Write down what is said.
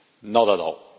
Not at all!